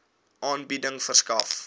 aanbieding verskaf